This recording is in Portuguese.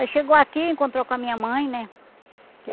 Aí chegou aqui, encontrou com a minha mãe, né? Porque